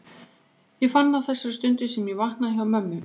Ég fann það á þessari stundu sem ég vaknaði hjá mömmu.